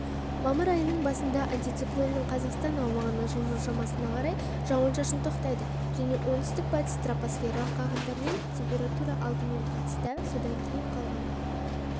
мамыр айының басында антициклонның қазақстан аумағына жылжу шамасына қарай жауын-шашын тоқтайды және оңтүстік-батыс тропосферлық ағындармен температура алдымен батыста содан кейін қалған